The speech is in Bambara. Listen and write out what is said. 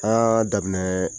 Aa daminɛ